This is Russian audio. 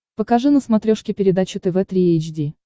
покажи на смотрешке передачу тв три эйч ди